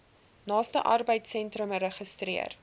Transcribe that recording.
naaste arbeidsentrum registreer